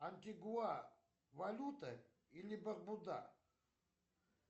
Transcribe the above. антигуа валюта или барбуда